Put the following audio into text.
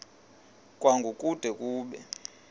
kwango kude kube